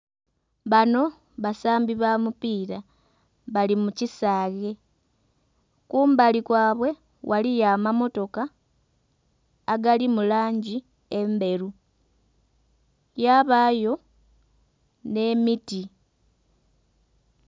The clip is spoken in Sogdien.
Bano basambi ba mupiira bali mu kisaghe kumbali kwabwe ghaliyo amamotoka agali mu langi endheru yabaayo nh'emiti.